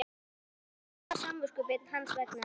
Þá þarf ég ekki að hafa samviskubit hans vegna?